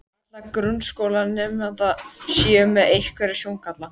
allra grunnskólanemenda séu með einhvern sjóngalla.